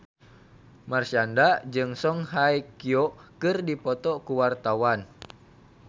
Marshanda jeung Song Hye Kyo keur dipoto ku wartawan